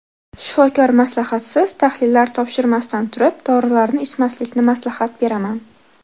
Shifokor maslahatisiz, tahlillar topshirmasdan turib, dorilarni ichmaslikni maslahat beraman.